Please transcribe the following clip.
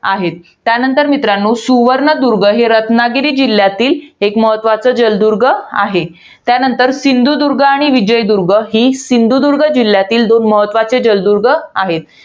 आहेत. त्यानंतर मित्रांनो, सुवर्णदुर्ग ही रत्नागिरी जिल्ह्यातील एक महत्वाचं, जलदुर्ग आहे. त्यानंतर सिंधुदुर्ग आणि विजयदुर्ग ही सिंधुदुर्ग जिल्ह्यातील दोन महत्वाचे जलदुर्ग आहेत.